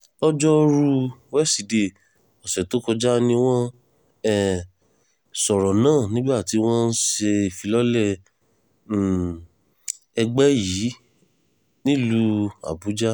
lọ́jọ́rùú wísidee ọ̀sẹ̀ tó kọjá ni wọ́n um sọ̀rọ̀ náà nígbà tí wọ́n ń ṣe ìfilọ́lẹ̀ um ẹgbẹ́ yìí nílùú àbújá